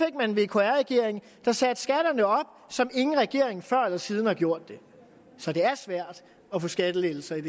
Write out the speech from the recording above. en vkr regering der satte skatterne op som ingen regering før eller siden har gjort det så det er svært at få skattelettelser i